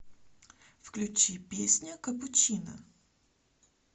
включи песня капучино